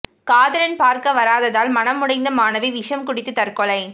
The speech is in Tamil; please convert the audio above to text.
காதலன் பார்க்க வராததால் மனம் உடைந்த மாணவி விஷம் குடித்து தற்கொலை